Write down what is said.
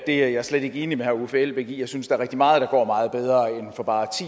er jeg slet ikke enig med herre uffe elbæk i jeg synes er rigtig meget der går meget bedre end for bare